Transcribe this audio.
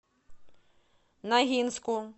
ногинску